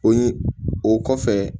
O ye o kɔfɛ